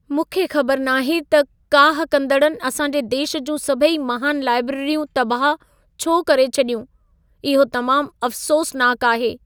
मूंखे ख़बर नाहे त काह कंदड़नि असांजे देश जूं सभई महानु लाइब्रेरियूं तबाह छो करे छॾियूं। इहो तमामु अफ़सोसनाकु आहे।